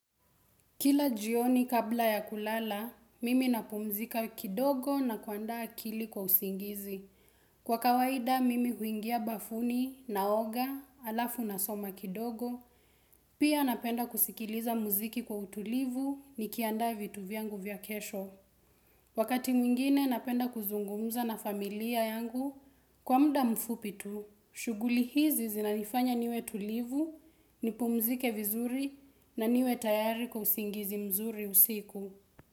Kila jioni kabla ya kulala, mimi napumzika kidogo na kuandaa akili kwa usingizi. Kwa kawaida, mimi huingia bafuni na oga, alafu na soma kidogo, pia napenda kusikiliza muziki kwa utulivu nikiandaa vitu vyangu vya kesho. Wakati mwingine napenda kuzungumuza na familia yangu kwa muda mfupi tu. Shughuli hizi zinanifanya niwe tulivu, nipumzike vizuri na niwe tayari kwa usingizi mzuri usiku.